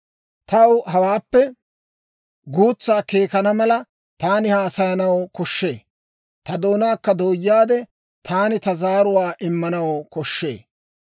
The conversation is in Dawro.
Taw hawaappe guutsaa keekkana mala, taani haasayanaw koshshee; ta doonaakka dooyaade, taani ta zaaruwaa immanaw koshshee.